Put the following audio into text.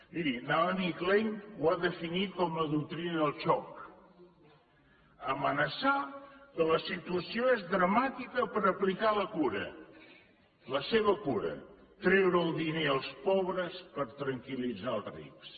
miri naomi klein ho va definir com la doctrina del xoc amenaçar que la situació és dramàtica per aplicar la cura la seva cura treure el diner als pobres per tranquil·litzar els rics